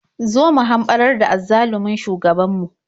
Zo mu hamɓarar da azzalumin shugabanmu.